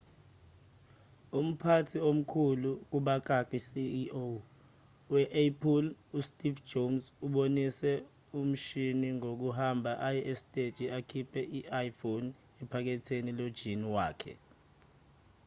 umphathi omkhulu ceo we-apple usteve jobs ubonise lomshini ngokuhamba aye esiteji akhiphe i-iphone ephaketheni lojini wakhe